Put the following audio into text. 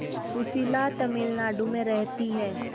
सुशीला तमिलनाडु में रहती है